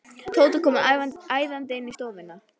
Tóti kom æðandi inn í stofuna.